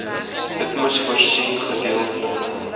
itmas voorsien gedeeltelike